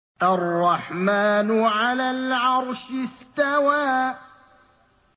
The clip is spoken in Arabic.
الرَّحْمَٰنُ عَلَى الْعَرْشِ اسْتَوَىٰ